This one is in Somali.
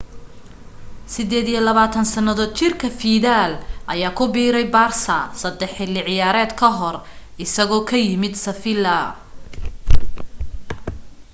28 sannadood jirka fiidal ayaa ku biiray barsa saddex xilli ciyaareed ka hor isagoo ka yimi seffiila